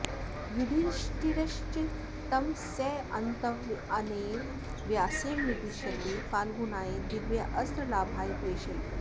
युधिष्ठिरश्च तं सान्त्वयन्नेव व्यासेन निर्दिश्यते फाल्गुनाय दिव्यास्त्रलाभाय प्रेषयितुम्